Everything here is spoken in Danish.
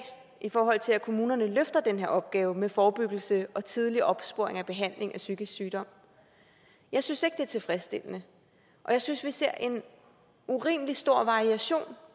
i forhold til at kommunerne løfter den her opgave med forebyggelse og tidlig opsporing og behandling af psykisk sygdom jeg synes ikke det er tilfredsstillende og jeg synes vi ser en urimelig stor variation